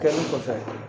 Kɛlen kɔfɛ